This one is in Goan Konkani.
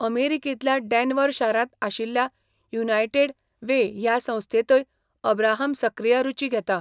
अमेरिकेंतल्या डेन्व्हर शारांत आशिल्ल्या युनायटेड वे ह्या संस्थेंतय अब्राहम सक्रीय रूची घेता.